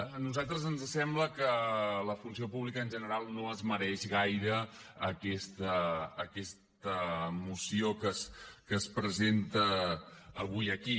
a nosaltres ens sembla que la funció pública en general no es mereix gaire aquesta moció que es presenta avui aquí